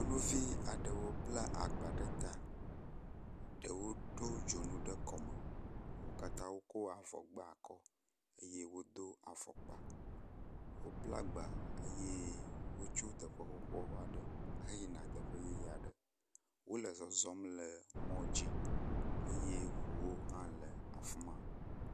Nyɔnuvi aɖewo bla agba ɖe ta. Ɖewo ɖo dzonu ɖe kɔme wo katã wokɔ avɔ gba akɔ eye wodo afɔkpa. Wobla agba eye wotso teƒe xoxo aɖe heyina teƒe yeye aɖe. Wo le zɔzɔm le mɔ dzi eye ŋuwo hã le afi ma.